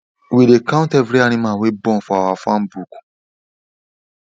we dey count every animal wey born for our farm book